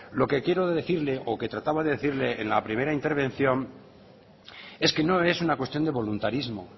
lo que quiero decirle o que trababa de decirle en la primera intervención es que no es una cuestión de voluntarismo